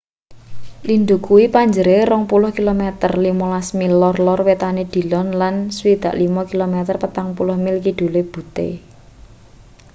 lindhu kuwi punjere 20 km 15 mil lor-lor wetane dillon lan 65 km 40 mil kidule butte